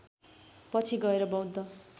पछि गएर बौद्ध